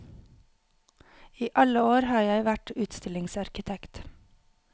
I alle år har jeg vært utstillingsarkitekt.